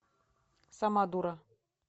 сама дура